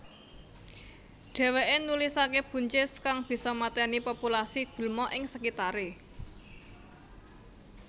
Dheweke nulisake buncis kang bisa mateni populasi gulma ing sekitare